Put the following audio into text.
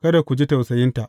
Kada ku ji tausayinta.